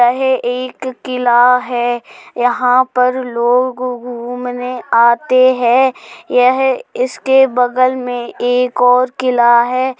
यह एक किला है। यहाँ पर लोग घूमने आते हैं। यह इस के बगल में एक और किला है।